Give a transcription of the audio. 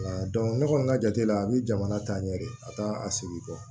ne kɔni ka jate la a bɛ jamana taa ɲɛ de a taa a segin kɔ